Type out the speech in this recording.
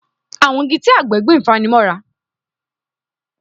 Àwọn igi tí àgbẹ̀ gbìn fani mọ́ra